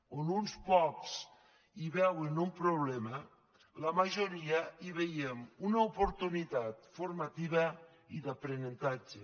on uns pocs hi veuen un problema la majoria hi veiem una oportunitat formativa i d’aprenentatge